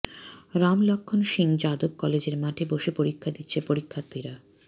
রাম লক্ষণ সিং যাদব কলেজের মাঠে বসে পরীক্ষা দিচ্ছে পরীক্ষার্থীরা